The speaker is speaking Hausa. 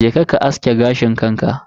Je ka ka aske gashin kanka.